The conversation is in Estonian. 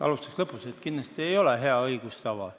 Alustaks lõpust: kindlasti ei ole hea õigustava.